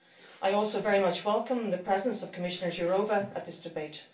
I also very much welcome the presence of Commissioner Jourová at this debate.